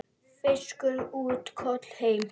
Fiskur út, kol heim.